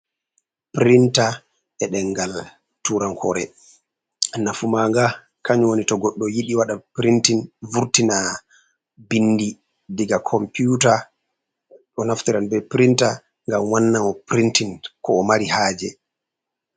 Pirinta eɗengal turankore. nafu maga kany woni to goɗɗo yidi wada printein vurtina binɗi ɗiga komputa. Ɗo naftira be pirinta ngam wannamo pirintein ko o mari haje.